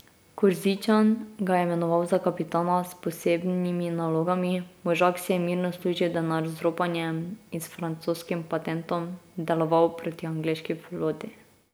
Korzičan ga je imenoval za kapitana s posebnimi nalogami, možak si je mirno služil denar z ropanjem in s francoskim patentom deloval proti angleški floti.